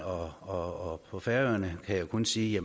og på færøerne kan jeg kun sige at